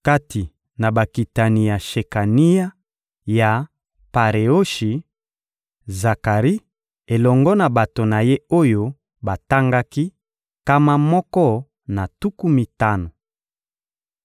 Kati na bakitani ya Shekania, ya Pareoshi: Zakari elongo na bato na ye oyo batangaki, nkama moko na tuku mitano.